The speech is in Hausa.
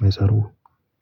mai tsaro.